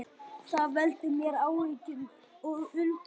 Það veldur mér áhyggjum og undrun